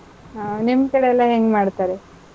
ಹ್ಮ್, ನಿಮ್ ಕಡೆ ಎಲ್ಲಾ ಹೆಂಗ್ ಮಾಡ್ತಾರೆ?